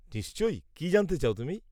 নিশ্চয়, কি জানতে চাও তুমি?